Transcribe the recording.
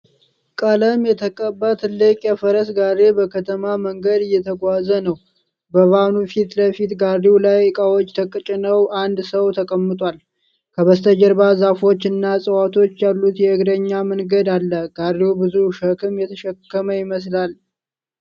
ቀለሞች የተቀባ ትልቅ የፈረስ ጋሪ በከተማ መንገድ እየተጓዘ ነው። በቫኑ ፊት ለፊት ጋሪው ላይ ዕቃዎች ተጭነው አንድ ሰው ተቀምጧል። ከበስተጀርባ ዛፎች እና ሕንፃዎች ያሉት የእግረኛ መንገድ አለ። ጋሪው ብዙ ሸክም የተሸከመ ይመስላል?